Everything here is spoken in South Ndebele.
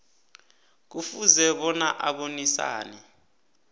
kufuze bona abonisane